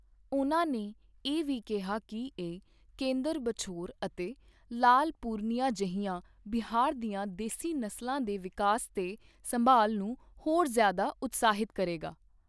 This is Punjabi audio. ਉਨ੍ਹਾਂ ਇਹ ਵੀ ਕਿਹਾ ਕਿ ਇਹ ਕੇਂਦਰ ਬਛੌਰ ਅਤੇ ਲਾਲ ਪੂਰਨੀਆ ਜਿਹੀਆਂ ਬਿਹਾਰ ਦੀਆਂ ਦੇਸੀ ਨਸਲਾਂ ਦੇ ਵਿਕਾਸ ਤੇ ਸੰਭਾਲ ਨੂੰ ਹੋਰ ਜ਼ਿਆਦਾ ਉਤਸ਼ਾਹਿਤ ਕਰੇਗਾ।